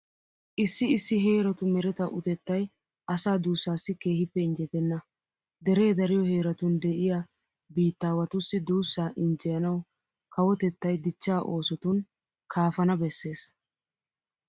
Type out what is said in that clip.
Issi issi heeratu mereta utettay asaa duussaassi keehippe injjetenna. Deree dariyo heeratun de'iya biittaawatussi duussaa injjeyanawu kawotettay dichchaa oosotun kaafana bessees.